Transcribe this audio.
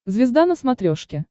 звезда на смотрешке